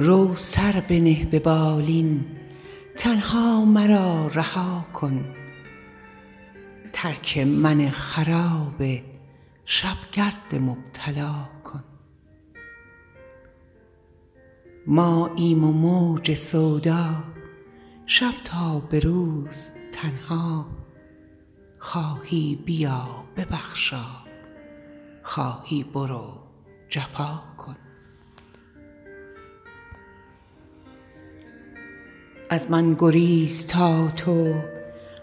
رو سر بنه به بالین تنها مرا رها کن ترک من خراب شب گرد مبتلا کن ماییم و موج سودا شب تا به روز تنها خواهی بیا ببخشا خواهی برو جفا کن از من گریز تا تو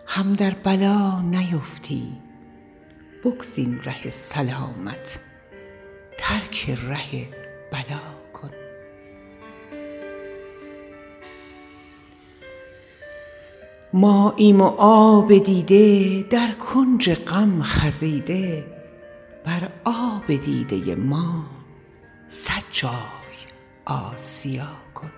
هم در بلا نیفتی بگزین ره سلامت ترک ره بلا کن ماییم و آب دیده در کنج غم خزیده بر آب دیده ما صد جای آسیا کن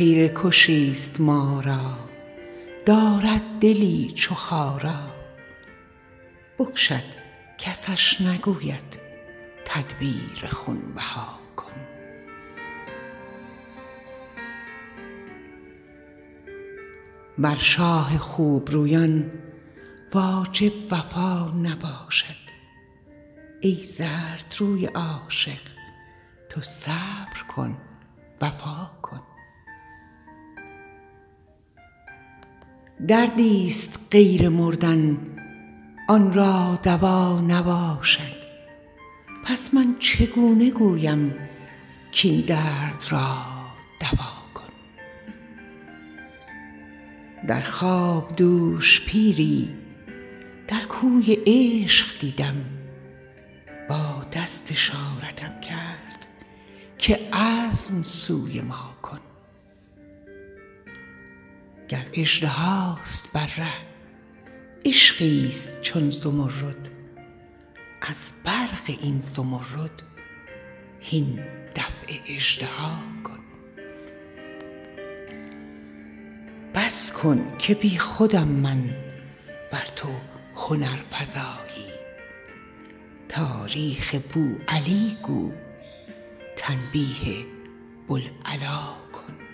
خیره کشی ست ما را دارد دلی چو خارا بکشد کسش نگوید تدبیر خون بها کن بر شاه خوب رویان واجب وفا نباشد ای زردروی عاشق تو صبر کن وفا کن دردی ست غیر مردن آن را دوا نباشد پس من چگونه گویم کاین درد را دوا کن در خواب دوش پیری در کوی عشق دیدم با دست اشارتم کرد که عزم سوی ما کن گر اژدهاست بر ره عشقی ست چون زمرد از برق این زمرد هین دفع اژدها کن بس کن که بی خودم من ور تو هنرفزایی تاریخ بوعلی گو تنبیه بوالعلا کن